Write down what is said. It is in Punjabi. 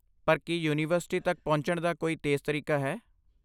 ਪਰ ਕੀ ਯੂਨੀਵਰਸਿਟੀ ਤੱਕ ਪਹੁੰਚਣ ਦਾ ਕੋਈ ਤੇਜ਼ ਤਰੀਕਾ ਹੈ?